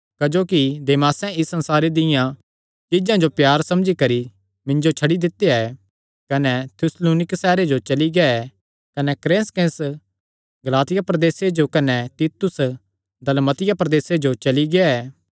क्जोकि देमासें इस संसारे दियां चीज्जां जो प्यारा समझी करी मिन्जो छड्डी दित्ता ऐ कने थिस्सलुनीक सैहरे जो चली गेआ कने क्रेसकेंस गलातिया प्रदेसे जो कने तीतुस दलमतिया प्रदेसे जो चली गेआ ऐ